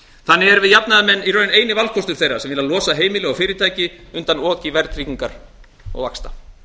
þannig erum við jafnaðarmenn eini valkostur þeirra sem vilja losa heimili og fyrirtæki undan oki verðtryggingar og vaxta